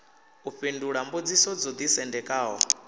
u fhindula mbudziso dzo ḓisendekaho